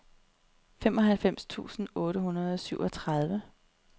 femoghalvfems tusind otte hundrede og syvogtredive